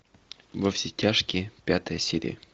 во все тяжкие пятая серия